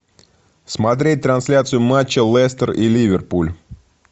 смотреть трансляцию матча лестер и ливерпуль